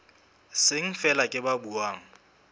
seng feela ke ba buang